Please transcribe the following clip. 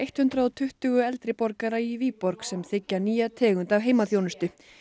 hundrað og tuttugu eldri borgara í Viborg sem þiggja nýja tegund af heimaþjónustu